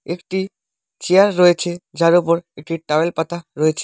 একটি চেয়ার রয়েছে যার ওপর একটি টাওয়েল পাতা রয়েছে।